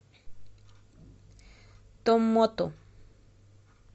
томмоту